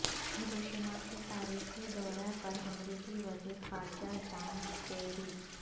Hiroshima کے تاریخی دورہ پر امریکی وزیر خارجہ جان کیری